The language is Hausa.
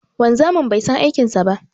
Wanzamin bai san aikin sa ba.